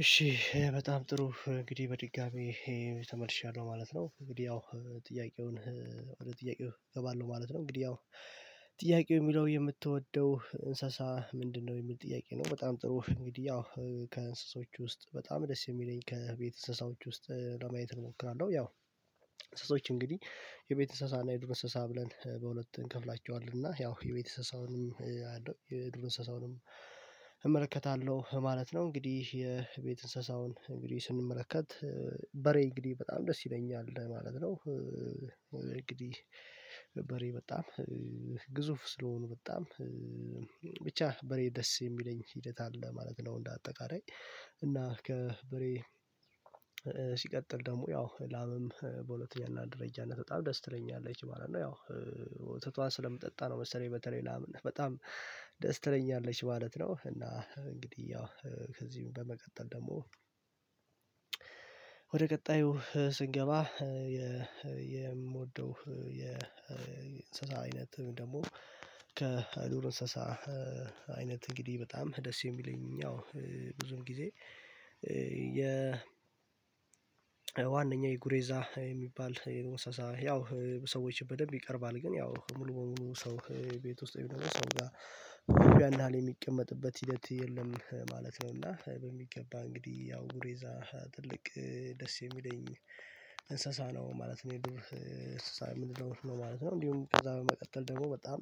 እሺ በጣም ጥሩ እንግዲህ በድጋሚ ተመልሻለሁ ማለት ነው። እንግዲህ ያው ጥያቄውን ወደ ጥያቄው እገባለሁ ማለት ነው። እንግዲህ ያው ጥያቄው የሚለው የምትወደው እንስሳ ምንድነው የሚል ጥያቄ ነው። በጣም ጥሩ እንግዲህ ያው ከእንስሶች ውስጥ በጣም ደስ የሚለኝ ከቤት እንሰሳዎች ውስጥ ለማየት እሞክራለሁ። ያው እንስሶዎች እንግዲህ የቤት አንስሳና የዱር እንስሳ ብለን በሁለት እንከፍላቸዋለን እና ያው የቤት እንሰሳውንም የድሮ እንስሳውንም ማለት ነው። እንግዲህ የቤት እንስሳውን እንግዲህ ስንመለከት በሬ እንግዲህ በጣም ደስ ይለኛል ማለት ነው። እንግዲህ በሬ በጣም ግዙፍ ስለሆኑ በጣም ብቻ በሬ ደስ የሚለኝ ሂደት አለ ማለት ነው። እንደ አጠቃላይ እና ከበሬ ሲቀጥል ደግሞ ያው ላምም በሁለተኛና አንድ ደረጃነት በጣም ደስ ትለኛለች ማለት ነው። ያው ወተቷን ስለምጠጣ ነው መሰለኝ በተለይ ላምን በጣም ደስ ትለኛለች ማለት ነው። እና እንግዲህ ያው ከዚህም በመቀጠል ደግሞ ወደ ቀጣዩ ስንገባ። የምወደው የእንስሳ አይነት ደግሞ ከድር እንስሳ አይነት እንግዲህ በጣም ደስ የሚለኝ ያው ብዙም ጊዜ ዋነኛው የጉሬዛ የሚባል ወሳሳ ያው ሰዎች በደንብ ይቀርባል ግን ያው ሙሉ በሙሉ ሰው ቤት ወይም ሰው ጋር ያን ያህል የሚቀመጥበት ሂደት የለም ማለት ነው። እና በሚገባ እንግዲህ ያው ጉሬዛ ትልቅ ደስ የሚለኝ እንስሳ ነው ማለት የዱር ምንለው ነው ማለት ነው። እንዲሁም ከዛ በመቀጠል ደግሞ በጣም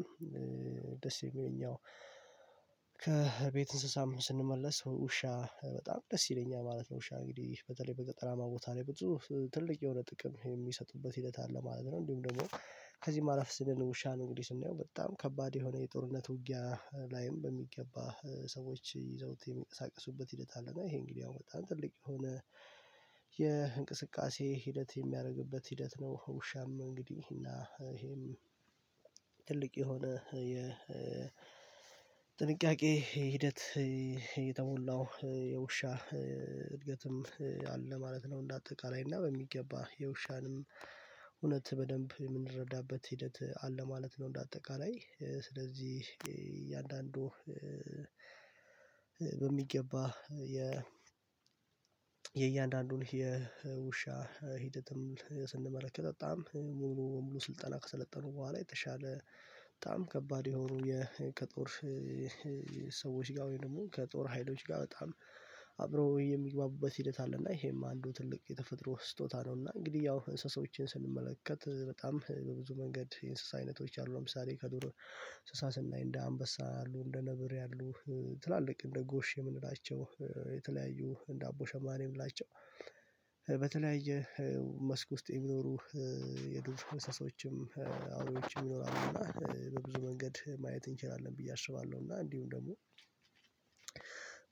ደስ የሚለኘ ከቤት እንስሳም ስንመለስ ውሻ በጣም ደስ ይለኛል ማለት ነው። ውሻ እንግዲህ በተለይ በገጠራማ ቦታ ላይ ብዙ ትልቅ የሆነ ጥቅም የሚሰጡበት ሂደት አለ ማለት ነው። እንዲሁም ደግሞ ከዚህ ማረፍ ስንል ውሻ ነው እንግዲህ ስንየው በጣም ከባድ የሆነ የጦርነት ውጊያ ላይም በሚገባ ሰዎች ይዘውት የሚያቀሳቅሱበት ሂደት አለ እና ይሄ እንግዲህ አሁን በጣም ትልቅ የሆነ የእንቅስቃሴ ሂደት የሚያደርግበት ሂደት ነው። ውሻም እንግዲህ እና ይሄም የሆነ የጥንቃቄ ሂደት እየተሞላው የውሻ እድገትም አለ ማለት ነው። እንደ አጠቃላይ እና በሚገባ የውሻንም እውነት በደንብ የምንረዳበት ሂደት አለ ማለት ነው። እንደ አጠቃላይ ስለዚህ እያንዳንዱ በሚገባ የእያንዳንዱን የውሻ ሂደትም ስንመለከት በጣም ሙሉ በሙሉ ስልጠና ከሰለጠኑ በኋላ የተሻለ በጣም ከባድ የሆኑ ከጦር ሰዎች ጋር ደግሞ ከጦር ሀይሎች ጋር በጣም አብረው የሚግባቡበት ሂደት አለና ይሄማ አንዱ ትልቅ የተፈጥሮ ስጦታ ነው። እና እንግዲህ ያው እንስሳዎችን ስንመለከት በጣም በብዙ መንገድ የእንስሳ አይነቶች አሉ ለምሳሌ ከዱር እንስሳ እንደ አንበሳ አሉ እንደ ነብር ያሉ ትላልቅ እንደ ጎሽ የምንላቸው የተለያዩ እንደ አቦ ሸማኔ ላቸው በተለያየ መስክ ውስጥ የሚኖሩ የድርጅት መስመሮችም አውሬዎችም ይኖራሉ እና በብዙ መንገድ ማየት እንችላለን ብዬ አስባለሁ። እና እንዲሁም ደግሞ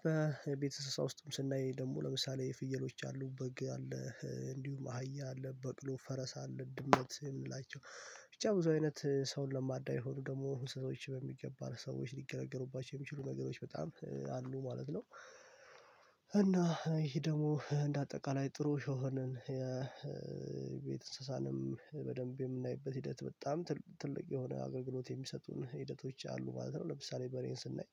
በቤተሰባም ውስጥም ስናይ ደግሞ ለምሳሌ ፍየሎች አሉ በግ አለ እንዲሁም አህያ አለ በቅሎ ፈረስ አለ ድምመት የምንላቸው ብቻ ብዙ አይነት ሰውን ለማዳ የሆኑ ደግሞ ሰዎች በሚገባ ሰዎች ሊገለገሉባቸው የሚችሉ ነገሮች በጣም አሉ ማለት ነው። እና ይሄ ደግሞ እንደ አጠቃላይ ጥሩ የሆነን የቤት እንስሳንም በደንብ የምናይበት ሂደት በጣም ትልቅ የሆነ አገልግሎት የሚሰጡን ሂደቶች አሉ ማለት ነው። ለምሳሌ በሬን ስናይ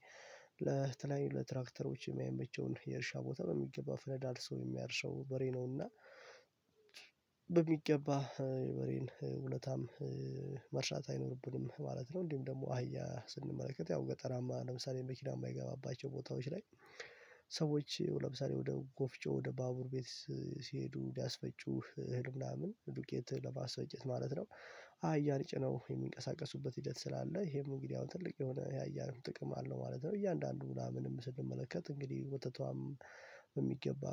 ለተለየዩ ለትራክተሮች የሚያመቸውን የእርሻ ቦታ በሚገባ ፈነዳ አልሰው የሚያርሰው በሬ ነውና በሚገባ የበሬን ውለታም መርሳት አይኖርብንም ማለት ነው። እንዲሁ ደግሞ አህያ ስንመለከት ያው ገጠራማ ለምሳሌ መኪናማ የማይገባባቸው ቦታዎች ላይ ሰዎች ለምሳሌ ወደ ጎፍጮ ወደ ባቡር ቤት ሲሄዱ ሊያስፈጩህ ህልም ላምን ዱቄት ለባስ ወጭት ማለት ነው። አህያን ጭነው የሚንቀሳቀሱበት ሂደት ስላለ ይሄም እንግዲህ አሁን ትልቅ የሆነ የአህያየን ጥቅም አለው ማለት ነው። እያንዳንዱ ምናምን ስንመለከት እንግዲህ ወተቷም በሚገባ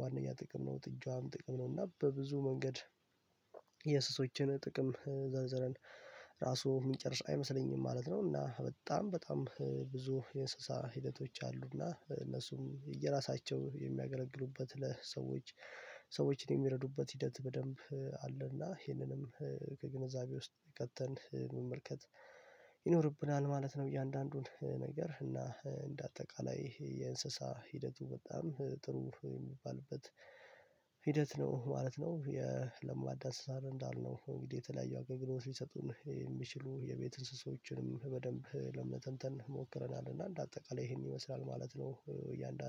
ዋናኛ ጥቅም ነው ጥጃዋም ጥቅም ነው እና በብዙ መንገድ ጥቅም ዘርዝረን ራሱ ምጨርስ አይመስለኝም ማለት ነው። እና በጣም በጣም ብዙ የእንስሳ ሂደቶች አሉ አና እነሱም የራሳቸው የሚያገለግሉበት ለሰዎች ሰዎችን የሚረዱበት ሂደት በደንብ አለና ይህንንም ከግንዛቤ ውስጥ ቀጥተን መመልከት ይኖርብናል ማለት ነው። እያንዳንዱን ነገር እና እንደ አጠቃላይ ይሄ የእንስሳ ሂደቱ በጣም ጥሩ የሚባልበት ሂደት ነው ማለት ነው። የለማዳ አንሰሳት እንዳልነው እንግዲህ የተለያዩ አገልግሎት ሊሰጡን የሚችሉ የቤት እንስሳዎችንም በደንብ ለመተንተን ሞክረናል እና እንደ አጠቃላይ ይሄን ይመስላል ማለት ነው። እያንዳንዱ